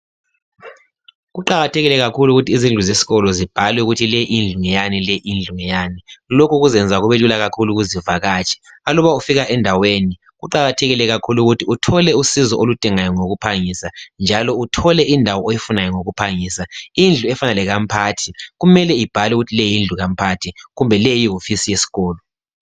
Kuqakathekile kakhulu ukuthi izindlu zesikolo zibhalwe ukuthi le indlu ngeyani, le indlu ngeyani. Lokhu kuzenza kubelula kakhulu. lakuzivakatshi. Aluba ufika endaweni, kuqakathekile kakhulu, ukuthi uthole usizo oludingayo ngokuphangisa, njalo uthole indawo oyifunayo ngokuphangisa. lndlu efana lekamphathi, kumele ibhalwe ukuthi le indlu ngekamphathi. Kumbe le, yihofisi yesikolo.